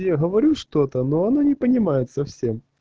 я говорю что-то но она не понимает совсем